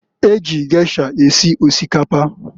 Eji gesha esi osikapa?